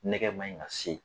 Nɛgɛ man ɲi ka se